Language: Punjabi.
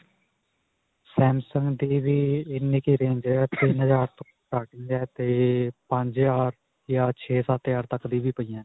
samsung ਦੀ ਵੀ ਇੰਨੀ ਕਿ range ਹੈ. ਤਿੰਨ ਹਜ਼ਾਰ ਤੋ starting ਹੈ 'ਤੇ ਪੰਜ ਹਜ਼ਾਰ ਜਾਂ ਛੇ-ਸੱਤ ਹਜ਼ਾਰ ਤੱਕ ਦੀ ਵੀ ਪਈ ਹੈ.